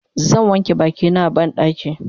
zan wanke bakina a banɗaki